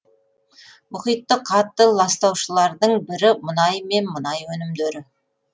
мұхитты қатты ластаушылардың бірі мұнай мен мұнай өнімдері